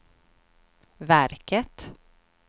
verket